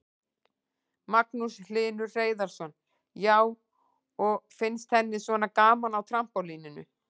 Magnús Hlynur Hreiðarsson: Já, og finnst henni svona gaman á trampólíninu?